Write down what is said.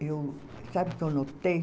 Eu, sabe o que eu notei?